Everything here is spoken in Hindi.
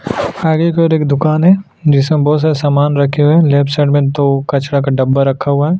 आगे की ओर एक दुकान है जिसमे बहोत सारा सामान रखे हुए हैं लेफ्ट साइड में दो कचरा का डब्बा रखा हुआ है।